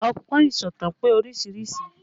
Ọgbọ́n ìsọ̀tàn pé oríṣiríṣi